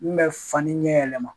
N bɛ fani ɲɛ yɛlɛma